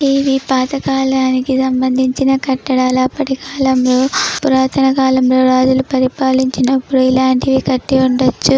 ఇది పాత కాలానికి సంబంధించిన కట్టడాలు అప్పటి కాలంలో పురాతన కాలంలో రాజులు పరిపాలించినప్పుడు ఇలాంటివి కట్టి--